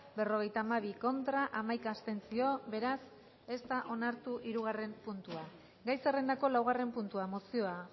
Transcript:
berrogeita hamabi contra hamaika abstentzio beraz ez da onartu hirugarren puntua gai zerrendako laugarren puntua mozioa